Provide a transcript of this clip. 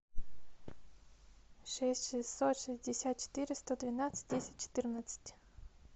шесть шестьсот шестьдесят четыреста двенадцать десять четырнадцать